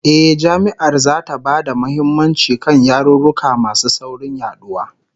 Eh, Jami'ar zata ba da muhimmanci kan yarurruka masu saurin yaduwa